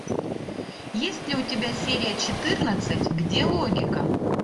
есть ли у тебя серия четырнадцать где логика